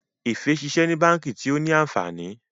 Efe ṣiṣẹ ní bánkì tio ní ànfàní.